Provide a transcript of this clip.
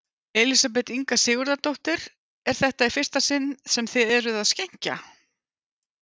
Elísabet Inga Sigurðardóttir: Er þetta í fyrsta sinn sem þið eruð að skenkja?